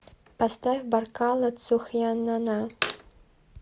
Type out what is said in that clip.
поставь баркалла цу хьа нанна